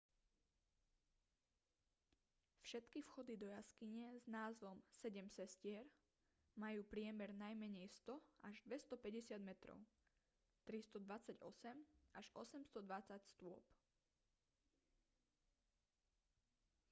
všetky vchody do jaskyne s názvom sedem sestier majú priemer najmenej 100 až 250 metrov 328 až 820 stôp